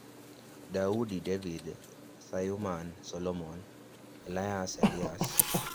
Dawud (David), Sulayman (Solomon), Ilyas (Elias).